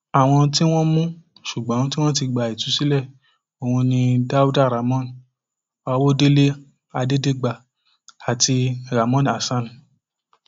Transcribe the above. àwọn tí wọn mú ṣùgbọn tí wọn ti gba ìtúsílẹ ọhún ni dáúdà ramón àwọdélé adẹdẹgbà àti ramon hasan